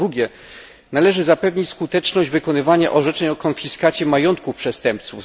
Po drugie, należy zapewnić skuteczność wykonywania orzeczeń o konfiskacie majątków przestępców.